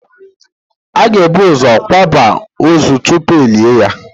A ga-ebu ụzọ kwaaba ózù tupu elie ya